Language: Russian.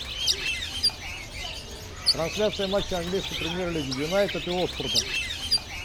трансляция матча английской премьер лиги юнайтед и уотфорда